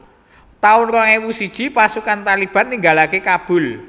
taun rong ewu siji Pasukan Taliban ninggalaké Kabul